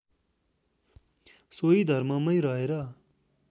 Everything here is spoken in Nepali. सोही धर्ममैँ रहेर